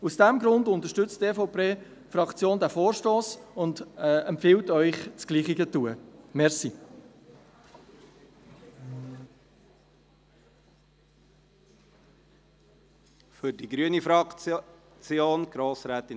Aus diesem Grund unterstützt die EVP-Fraktion diesen Vorstoss und empfiehlt Ihnen, dasselbe zu tun.